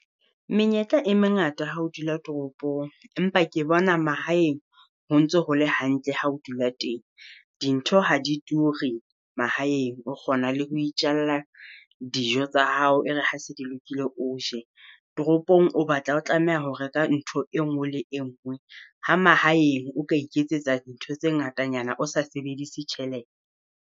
Menyetla e mengata ha o dula toropong, empa ke bona mahaeng ho ntso ho le hantle ha o dula teng, dintho ha di ture mahaeng o kgona le ho itjhalla dijo tsa hao. E re ha se di lokile o je, toropong o batla ho tlameha ho reka ntho e nngwe le engwe. Ha mahaeng o ka iketsetsa dintho tse ngatanyana o sa sebedise tjhelete.